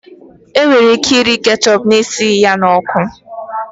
E nwere ike iri keshepu na-esighi ya ọkụ